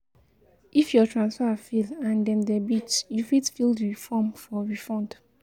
If your transfer fail and dem debit you fit fill di form for refund